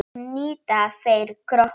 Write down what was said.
Ég hnita, þeir kroppa.